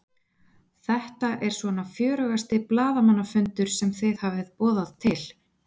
Þetta er svona fjörugasti blaðamannafundur sem þið hafið boðað til?